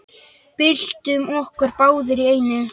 Byltum okkur báðar í einu.